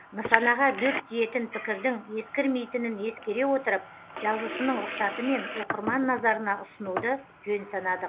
нысанаға дөп тиетін пікірдің ескірмейтінін ескере отырып жазушының рұқсатымен оқырман назарына ұсынуды жөн санадық